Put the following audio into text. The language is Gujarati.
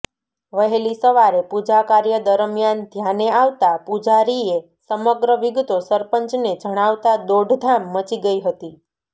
વહેલી સવારે પૂજાકાર્ય દરમિયાન ધ્યાને આવતાં પૂજારીએ સમગ્ર વિગતો સરપંચને જણાવતાં દોડધામ મચી ગઇ હતી